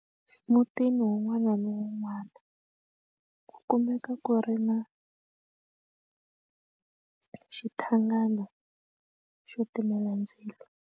Emutini wun'wana na wun'wana ku kumeka ku ri na xithawulana xo timela ndzilo.